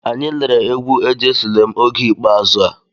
Anyị lere egwu"ejesulem" oge ikpeazụ a.